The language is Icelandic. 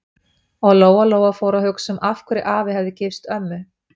Og Lóa-Lóa fór að hugsa um af hverju afi hefði gifst ömmu.